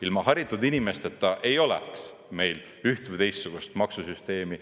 Ilma haritud inimesteta ei oleks meil üht või teistsugust maksusüsteemi.